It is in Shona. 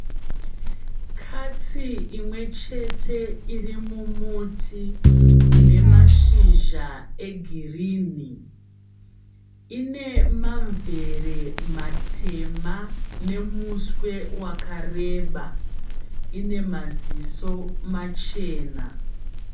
Katsi imwechete irimumuti unemashizha egirinhi. Inemamvere matema nemuswe wakareba nemuswe wakareba, inemaziso machena.